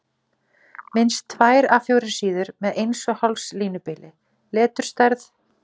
Minnst tvær A 4 síður með 1½ línubili, leturstærð